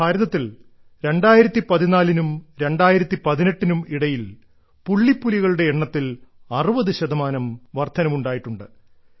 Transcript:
ഭാരതത്തിൽ 2014 നും 2018 നും ഇടയിൽ പുള്ളിപ്പുലികളുടെ എണ്ണത്തിൽ 60 ശതമാനം വർദ്ധനവുണ്ടായിട്ടുണ്ട്